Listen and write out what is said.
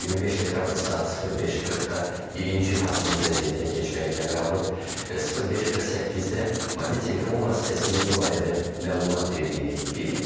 25 dekabr saat 05:40-da birinci hazırlıq vəziyyətinə keçmək əmri alıb və 05:48-də mobil telefon vasitəsilə bu barədə məlumat verdiyini qeyd edir.